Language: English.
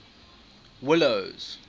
willows